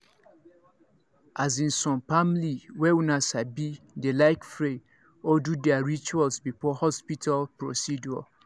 as insome family way una sabi dey like pray or do their rituals before hospital procedure